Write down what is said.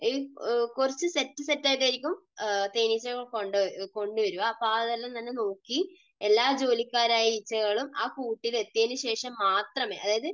കുറച്ചു set set ആയിട്ട് ആയിരിക്കും തേനീച്ചകളെ കൊണ്ടുവരിക. അപ്പോൾ അതെല്ലാം തന്നെ നോക്കി എല്ലാ ജോലിക്കാരായ ഈച്ചകളും ആ കൂട്ടിൽ എത്തിയതിനുശേഷം മാത്രമേ അതായത്